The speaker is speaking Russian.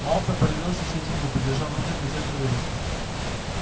малфой появился через минуту держа в руке газетную вырезку